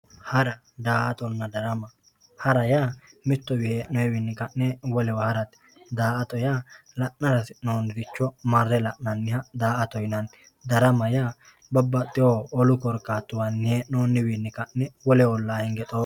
Hara daa"atonna darama hara yaa mittuwi hee'noyiiwi ka'ne wolewa harate daa"ato yaa la'nara hasi'noonniricho marre la'nanniha daa"ato yinanni darama yaa babbaxxeyo olu korkaatuwanni hee'noyiiwinni wole ollaa hinge xooqate